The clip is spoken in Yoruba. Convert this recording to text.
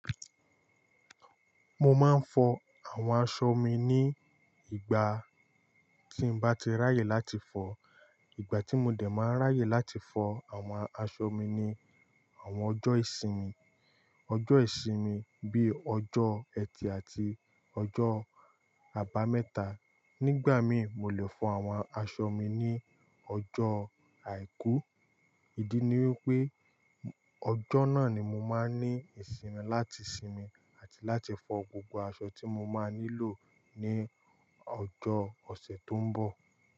Mo máa ń fọ àwọn aṣọ mi ní ìgbà tí bá ti ráyè láti fọ. Ìgbà tí mo dè máa ń ráyè láti fọ àwọn aṣọ mi ni àwọn ọjọ́ ìsinmi. Ọjọ́ ìsinmi bíi ọjọ́ ẹtì àti ọjọ́ àbámẹ́ta. Nígbà mi, mo lè fọ àwọn aṣọ mi ní ọjọ́ àìkú. Ìdí ni wípé ọjọ́ náà ni mo máa ń ní ìsinmi láti sinmi àti láti fọ gbogbo aṣọ tí mo máa nílò ní ọjọ́ ọ̀sẹ̀ tó ń bọ̀.